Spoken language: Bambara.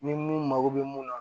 Ni mun mago bɛ mun na